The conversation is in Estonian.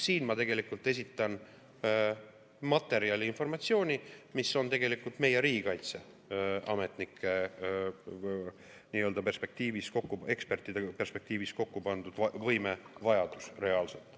Siin ma esitan materjali ja informatsiooni, mis on tegelikult meie riigikaitseametnike perspektiivis, ekspertide perspektiivis kokku pandud võimevajadus reaalselt.